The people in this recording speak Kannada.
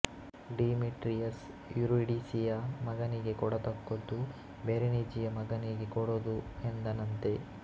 ಡಿಮೀಟ್ರಿಯಸ್ ಯೂರಿಡಿಸಿಯ ಮಗನಿಗೆ ಕೊಡತಕ್ಕದ್ದು ಬೆರೆನಿಜಿಯ ಮಗನಿಗೆ ಕೂಡದು ಎಂದನಂತೆ